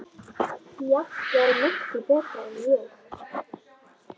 Jafnvel miklu betur en ég.